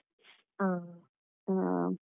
ಹ ಹ.